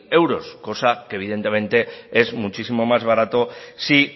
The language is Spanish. euros cosa que evidentemente es muchísimo más barato si